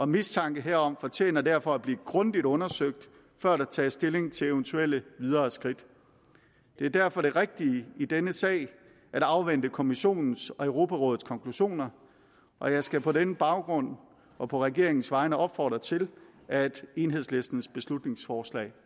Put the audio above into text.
mistanke herom fortjener derfor at blive grundigt undersøgt før der tages stilling til eventuelle videre skridt det er derfor det rigtige i denne sag at afvente kommissionens og europarådets konklusioner og jeg skal på den baggrund og på regeringens vegne opfordre til at enhedslistens beslutningsforslag